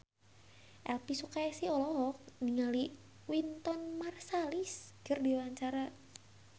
Elvy Sukaesih olohok ningali Wynton Marsalis keur diwawancara